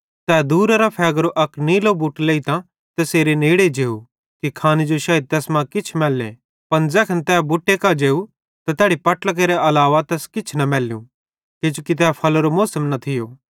तै दूरेरां फ़ेगेरो अक नीलो बुट लेइतां तैसेरे नेड़े जेव कि खाने जो शायद तैस मां किछ मैल्ले पन ज़ैखन तै बुटे कां जेव त तैड़ी पट्लां केरे अलावा तैस किछ न मैल्लू किजोकि तै फल्लेरो मौसम न थियो